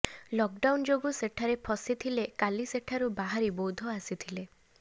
lockdown ଯୋଗୁଁ ସେଠାରେ ଫସି ଥିଲେ କାଲି ସେଠାରୁ ବାହାରି ବୌଦ୍ଧ ଆସିଥିଲେ